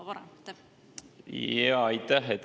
Aitäh!